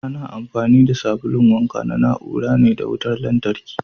Ana amfani da sabulun wanka na na ura ne da wutar lantarki.